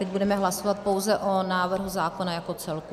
Teď budeme hlasovat pouze o návrhu zákona jako celku.